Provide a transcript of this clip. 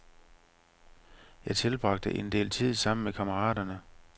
Jeg tilbragte en del tid sammen med kammeraterne.